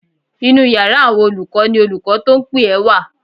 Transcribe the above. Inú yàrá àwọn olùkọ́ ni olùkọ́ tó ń pè ẹ́ wà